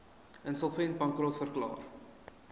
insolvent bankrot verklaar